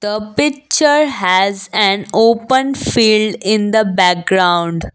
the picture has an open field in the background.